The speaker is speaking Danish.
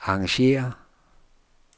arrangér